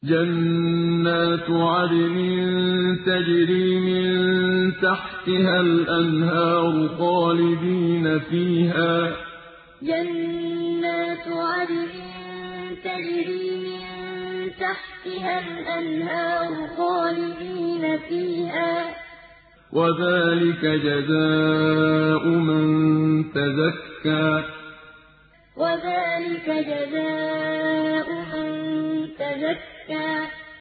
جَنَّاتُ عَدْنٍ تَجْرِي مِن تَحْتِهَا الْأَنْهَارُ خَالِدِينَ فِيهَا ۚ وَذَٰلِكَ جَزَاءُ مَن تَزَكَّىٰ جَنَّاتُ عَدْنٍ تَجْرِي مِن تَحْتِهَا الْأَنْهَارُ خَالِدِينَ فِيهَا ۚ وَذَٰلِكَ جَزَاءُ مَن تَزَكَّىٰ